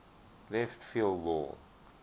left field wall